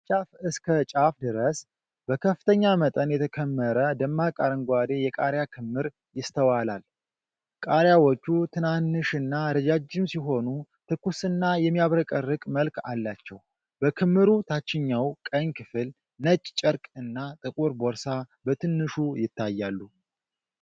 ከጫፍ እስከ ጫፍ ድረስ በከፍተኛ መጠን የተከመረ ደማቅ አረንጓዴ የቃሪያ ክምር ይስተዋላል። ቃሪያዎቹ ትንሽና ረጃጅም ሲሆኑ፣ ትኩስና የሚያብረቀርቅ መልክ አላቸው። በክምሩ ታችኛው ቀኝ ክፍል ነጭ ጨርቅ እና ጥቁር ቦርሳ በትንሹ ይታያሉ።